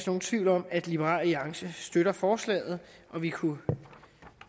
nogen tvivl om at liberal alliance støtter forslaget vi kunne